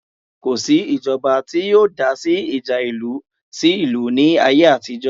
Kò sí ìjọba tí yóò dásí ìjà ìlú sí ìlú ní ayé àtijọ́